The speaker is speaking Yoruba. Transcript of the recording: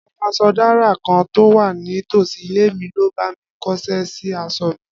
Afaṣọdárà kan tó wà ní tòsí ilé mi ló bá mi kóṣẹ́ sí aṣọ mi